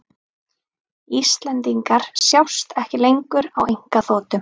Íslendingar sjást ekki lengur á einkaþotum